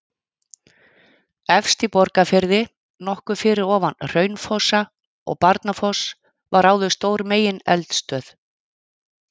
Efst í Borgarfirði, nokkuð fyrir ofan Hraunfossa og Barnafoss var áður stór megineldstöð.